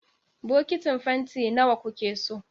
Bokitin fanti na wa kuke so?